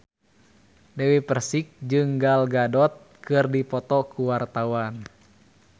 Dewi Persik jeung Gal Gadot keur dipoto ku wartawan